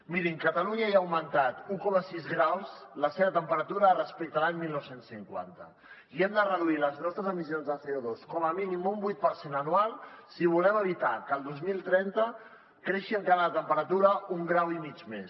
mirin catalunya ja ha augmentat un coma sis graus la seva temperatura respecte a l’any dinou cinquanta i hem de reduir les nostres emissions de cosi volem evitar que el dos mil trenta creixi encara la temperatura un grau i mig més